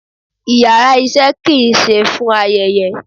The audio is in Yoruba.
íyarà iṣẹ ki n se fún ayẹyẹ